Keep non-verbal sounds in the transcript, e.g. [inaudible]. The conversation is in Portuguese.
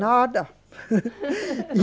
Nada. [laughs]